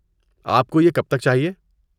آپ کو یہ کب تک چاہیے؟